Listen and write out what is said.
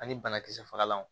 Ani banakisɛ fagalanw